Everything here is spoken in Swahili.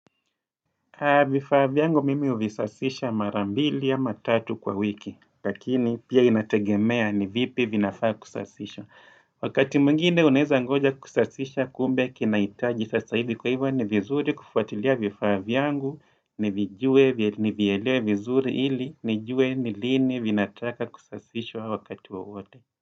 Vifaa vyangu mimi huvisafisha mara mbili ama tatu kwa wiki, lakini pia inategemea ni vipi vinafaa kusafishwa. Wakati mwingine unaweza ngoja kusasisha kumbe kinahitaji sasa hivi kwa hivyo ni vizuri kufuatilia vifaa vyangu, nivijue, nivielewe vizuri hili, nijue ni lini vinafaa kusasishwa wakati wowote.